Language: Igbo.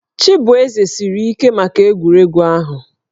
Chibueze siri ike maka egwuregwu ahụ